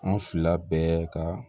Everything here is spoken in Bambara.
An fila bɛɛ ka